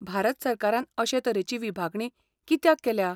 भारत सरकारान अशे तरेची विभागणी कित्याक केल्या?